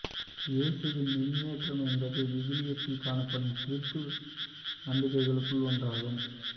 இயேசுவின் விண்ணேற்றம் என்பது விவிலியத்தில் காணப்படும் கிறித்துவ நம்பிக்கைகளுள் ஒன்றாகும்